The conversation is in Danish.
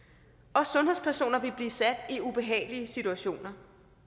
og sundhedspersoner vil blive sat i ubehagelige situationer